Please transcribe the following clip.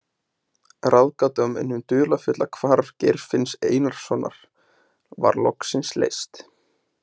Ráðgátan um hið dularfulla hvarf Geirfinns Einarssonar var loksins leyst.